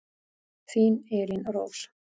Þín Elín Rós.